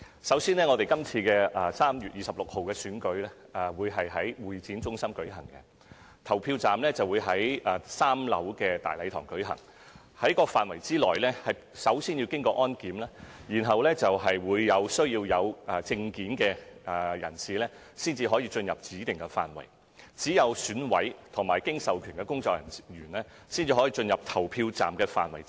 首先，今次3月26日的選舉會在香港會議展覽中心舉行，投票站設於3樓大禮堂，進入該範圍先要經過安檢，只有配戴證件的人士才獲准進入指定範圍，而只有選委和經授權工作人員可進入投票站範圍。